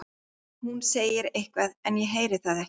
Hún segir eitthvað en ég heyri það ekki.